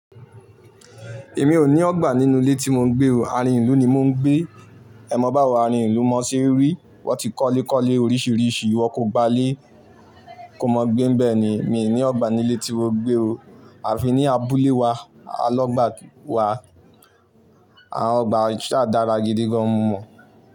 Èmi ò ní ọgbà nínú ilé tí mò ń gbé o, àárín ìlú ni mò ń gbé. Ẹ mọ báwo àárín ìlú mọ sí eré? Wọ́n ti kọ́lé kọ́lé oríṣiríṣi, iwọ kò gba lé, kò mọ n gbé bẹ́ẹ̀ ni, mi ò ní ọgbà nílé tí mò gbé o. À fi ní abúlé wa, alọ́gbà wa, àwọn ọgbà sa dára gidi gan mo mọn.